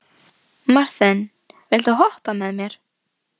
Marthen, viltu hoppa með mér?